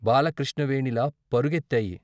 బాల కృష్ణవేణిలా పరు గెత్తాయి.